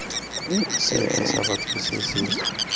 sefe sa batho se se